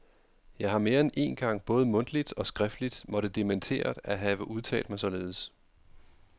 Jeg har mere end én gang både mundtligt og skriftligt måtte dementere at have udtalt mig således.